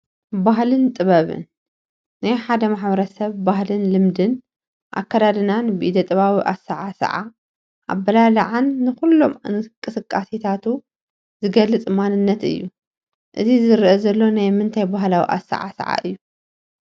ባህልን ጥበብን፡- ናይ ሓደ ማ/ሰብ ባህልን ልምድን ኣከዳድና፣ ብኢደጥበባዊ ኣሳዓስዓ፣ ኣባላልዓን ንኹሎም እንቅስቃሴታቱን ዝገልፅ ማንነት እዩ፡፡ እዚ ዝረአ ዘሎ ናይ ምንታይ ባህላዊ ኣሰዓስዓ እዩ?